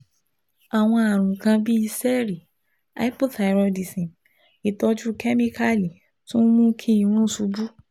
àwọn àrùn kan bíi ṣẹẹri, hypothyroidism ìtọ́jú kẹ́míkálì tún mú kí irun ṣubú